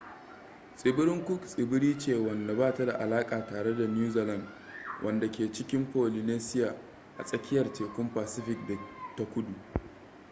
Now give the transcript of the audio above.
tsibirin cook tsibiri ce wanda ba ta da alaka tare da new zealand wanda ke cikin polynesia a tsakiyar tekun pacific ta kudu